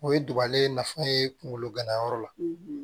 O ye duguba nafa ye kungolo ganayɔrɔ la